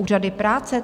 Úřady práce?